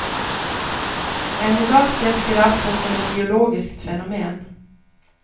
Än i dag ses giraffen som ett biologiskt fenomen.